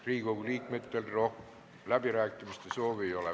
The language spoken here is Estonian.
Riigikogu liikmetel läbirääkimiste soovi ei ole.